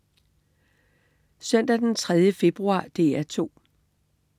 Søndag den 3. februar - DR 2: